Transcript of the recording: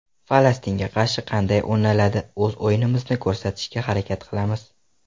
Falastinga qarshi qanday o‘ynaladi O‘z o‘yinimizni ko‘rsatishga harakat qilamiz.